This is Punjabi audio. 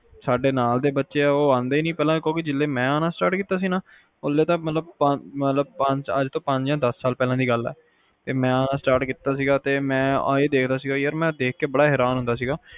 ਸਾਡੇ ਨਾਲ ਦੇ ਬੱਚੇ ਹੈਗੇ ਆ ਜੋ ਆਂਦੇ ਈ ਨੀ ਕਿਉਂਕਿ ਜਦੋ ਮੈਂ ਆਣਾ start ਕੀਤਾ ਸੀ ਨਾ ਉਂਦੋ ਅੱਜ ਤੋਂ ਪੰਜ ਆ ਦਸ ਸਾਲ ਪਹਿਲਾ ਦੀ ਗੱਲ ਆ ਤੇ ਮੈਂ ਆ ਦੇਖਦਾ ਸੀਗਾ ਕਿ ਮੈਂ ਇਹ ਦੇਖ ਕੇ ਬੜਾ ਹੈਰਾਨ ਹੁੰਦਾ ਸੀਗਾ